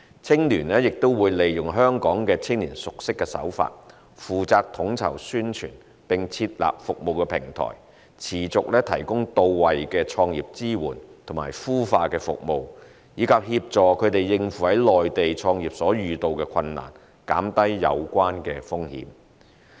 青聯亦會利用香港青年熟悉的手法，負責統籌宣傳，並設立服務平台，持續提供到位的創業支援及孵化服務，以及協助他們應付在內地創業所遇到的困難，減低有關風險。